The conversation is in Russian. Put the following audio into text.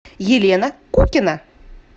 елена кукина